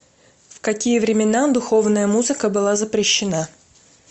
в какие времена духовная музыка была запрещена